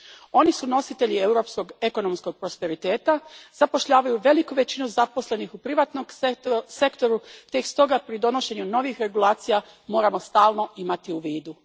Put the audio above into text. Oni su nositelji europskog ekonomskog prosperiteta, zapošljavaju veliku većinu zaposlenih u privatnom sektoru te ih stoga pri donošenju novih regulacija moramo stalno imati u vidu.